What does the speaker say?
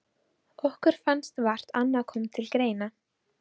Okkur fannst vart annað koma til greina.